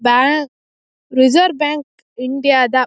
bank reserve bank India ದ --